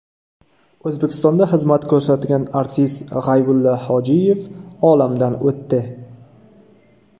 O‘zbekistonda xizmat ko‘rsatgan artist G‘aybulla Hojiyev olamdan o‘tdi.